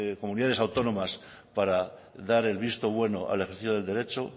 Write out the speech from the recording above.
comunidades autónomas para dar el visto bueno al ejercicio del derecho